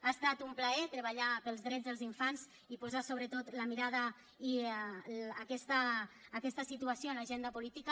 ha estat un plaer treballar pels drets dels infants i posar sobretot la mirada i aquesta situació en l’agenda política